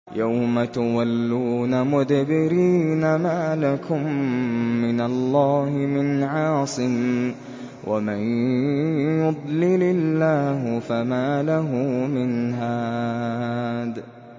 يَوْمَ تُوَلُّونَ مُدْبِرِينَ مَا لَكُم مِّنَ اللَّهِ مِنْ عَاصِمٍ ۗ وَمَن يُضْلِلِ اللَّهُ فَمَا لَهُ مِنْ هَادٍ